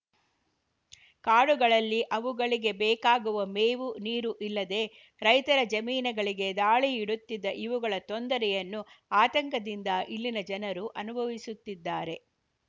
ಕಾಡುಗಳಲ್ಲಿ ಅವುಗಳಿಗೆ ಬೇಕಾಗುವ ಮೇವು ನೀರು ಇಲ್ಲದೇ ರೈತರ ಜಮೀನುಗಳಿಗೆ ದಾಳಿ ಇಡುತ್ತಿದ್ದು ಇವುಗಳ ತೊಂದರೆಯನ್ನು ಆತಂಕದಿಂದ ಇಲ್ಲಿನ ಜನರು ಅನುಭವಿಸುತ್ತಿದ್ದಾರೆ